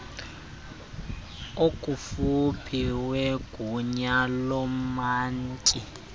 okufuphi wegunya loomantyi